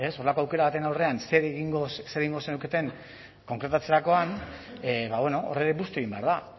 horrelako aukera baten aurrean zer egingo zenuketen kontratatzerakoan hor ere busti egin behar da